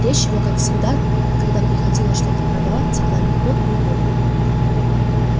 речь его как всегда когда приходило что-то продавать текла легко и уверенно